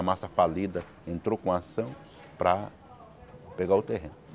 A massa falida entrou com a ação para pegar o terreno.